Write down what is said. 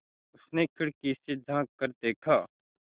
उसने खिड़की से झाँक कर देखा